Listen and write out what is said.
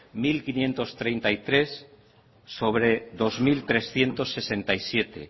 mil quinientos treinta y tres sobre dos mil trescientos sesenta y siete